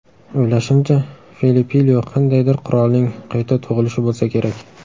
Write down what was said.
O‘ylashimcha, Felipilyo qandaydir qirolning qayta tug‘ilishi bo‘lsa kerak.